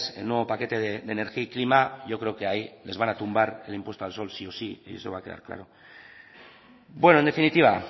el nuevo paquete de energía y clima y yo creo que desde ahí les van a tumbar el impuesto al sol sí o sí eso va a quedar claro bueno en definitiva